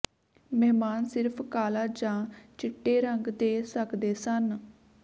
ਮਹਿਮਾਨ ਸਿਰਫ਼ ਕਾਲਾ ਜਾਂ ਚਿੱਟੇ ਰੰਗ ਦੇ ਸਕਦੇ ਸਨ